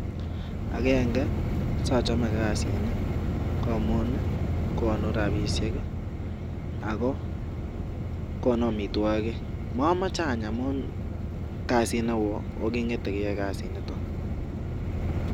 Agenge sochome kasini ko agenge, ko konu rapishek ako konu amitwokik. Mamachei any amun kasit neo ak kingete keyae kasinito.